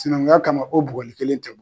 Sinankunya kama o bugɔli kelen tɛ